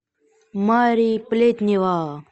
мари плетнева